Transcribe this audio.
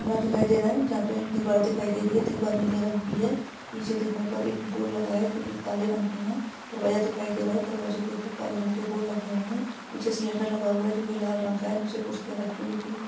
कमरा दिखाई दे रहा है जहाँ पे दीवार दिखाई दे रही है दीवार नीले रंग की है पीछे देखने पर एक बोर्ड लगा है जो की काले रंग के है दरवाजा दिखाई दे रहा है दरवाजे के ऊपर काले रंग के बोर्ड लगे हुए है पीछे सिलेंडर रखा हुआ है जो की लाल रंग का है नीचे कुर्सियाँ रखी जो की --